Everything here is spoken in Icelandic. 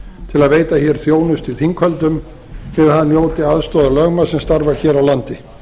til að veita þjónustu í þinghöldum til að hann njóti aðstoðar lögmanns sem starfar hér á landi